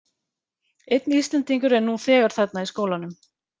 Einn Íslendingur er nú þegar þarna í skólanum.